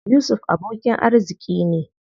Yusuf abokin arziƙi ne.